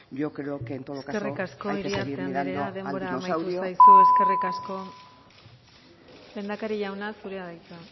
yo creo que en todo caso hay que seguir mirando al dinosaurio eskerrik asko iriarte anderea denbora agortu zaizu lehendakari jauna zurea da hitza